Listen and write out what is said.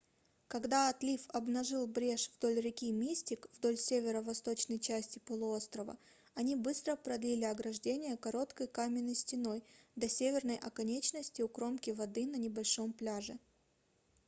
когда отлив обнажил брешь вдоль реки мистик вдоль северо-восточной части полуострова они быстро продлили ограждение короткой каменной стеной до северной оконечности у кромки воды на небольшом пляже